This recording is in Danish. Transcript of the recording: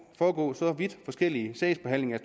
foregå så vidt forskellige sagsbehandlinger